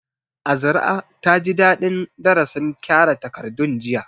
Azra taji dadin darasin kyara takardun jiya